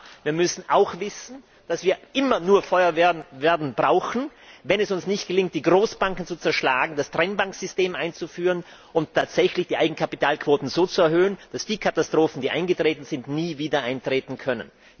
Aber wir müssen auch wissen, dass wir immer nur Feuerwehren brauchen werden, wenn es uns nicht gelingt, die Großbanken zu zerschlagen, das Trennbankensystem einzuführen und die Eigenkapitalquoten so zu erhöhen, dass die Katastrophen, die eingetreten sind, nie wieder eintreten können.